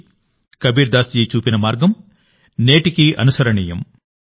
కబీర్దాస్ జీ చూపిన మార్గం నేటికీ ప్రాసంగికత కలిగి ఉంది